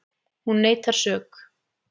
Hún neitar sök